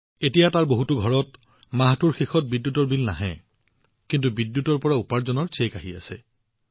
এতিয়া তাত থকা বহুতো ঘৰত মাহটোৰ শেষত বিদ্যুতৰ বিলৰ পৰিৱৰ্তে বিদ্যুতৰ পৰা উপাৰ্জন হোৱাৰ এক প্ৰথা আৰম্ভ হৈছে